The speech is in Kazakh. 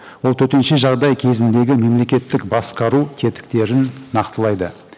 ол төтенше жағдай кезіндегі мемлекеттік басқару тетіктерін нақтылайды